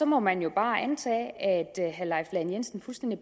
må man jo bare antage at herre leif lahn jensen